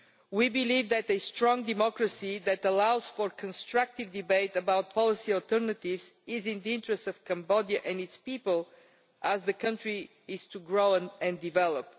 We believe that a strong democracy that allows for constructive debate about policy alternatives is in the interests of Cambodia and its people if the country is to grow and develop.